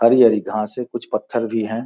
हरी-हरी घास है। कुछ पत्थर भी हैं |